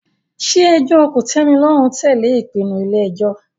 Ṣé ẹjọ́ kòtẹ́milọ́rùn tẹ̀lé ìpinnu ilé ẹjọ́?